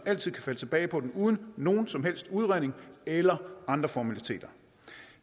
altid kan falde tilbage på den uden nogen som helst udredning eller andre formaliteter